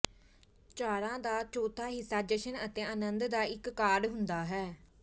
ਚਾਰਾਂ ਦਾ ਚੌਥਾ ਹਿੱਸਾ ਜਸ਼ਨ ਅਤੇ ਅਨੰਦ ਦਾ ਇੱਕ ਕਾਰਡ ਹੁੰਦਾ ਹੈ